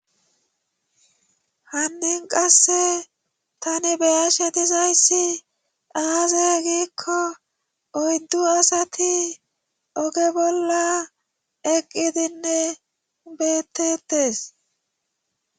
hannin qasse tani beyashe dizayssi aaze giikko oyddu asati oge bolla eqqidinne beettetes